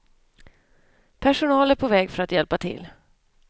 Personal är på väg för att hjälpa till.